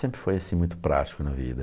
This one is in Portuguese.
Sempre foi assim, muito prático na vida.